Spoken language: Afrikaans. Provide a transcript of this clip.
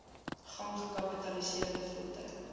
gang gekapitaliseer voertuie